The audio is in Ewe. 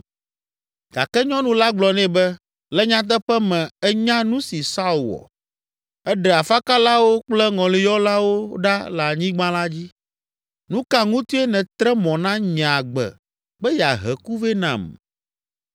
Gake nyɔnu la gblɔ nɛ be, “Le nyateƒe me ènya nu si Saul wɔ. Eɖe afakalawo kple ŋɔliyɔlawo ɖa le anyigba la dzi. Nu ka ŋutie nètre mɔ na nye agbe be yeahe ku vɛ nam?”